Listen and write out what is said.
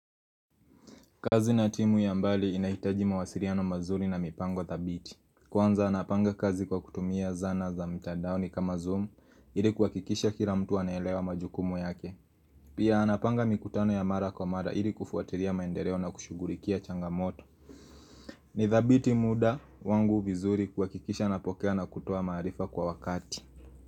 Kazi na timu ya mbali inahitaji mawasiliano mazuri na mipango thabiti. Kwanza napanga kazi kwa kutumia zana za mtadaoni kama zoom ili kuhakikisha kila mtu anelewa majukumu yake. Pia napanga mikutano ya mara kwa mara ili kufuatilia maendeleo na kushughulikia changamoto. Nithabiti muda wangu vizuri kuhakikisha napokea na kutoa maarifa kwa wakati.